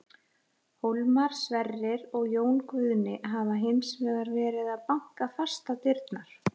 Hólmar, Sverrir og Jón Guðni hafa hins vegar verið að banka fast á dyrnar.